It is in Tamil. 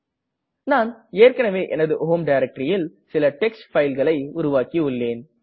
நான் ஏற்கனவே எனது ஹோம் directoryல் சில டெக்ஸ்ட் பைல் களை உருவாக்கியுள்ளேன்